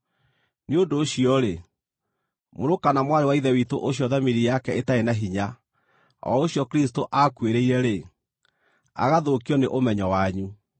Nĩ ũndũ ũcio-rĩ, mũrũ kana mwarĩ wa Ithe witũ ũcio thamiri yake ĩtarĩ na hinya, o ũcio Kristũ aakuĩrĩire-rĩ, agathũkio nĩ ũmenyo wanyu.